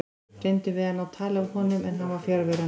Reyndum við að ná tali af honum en hann var fjarverandi.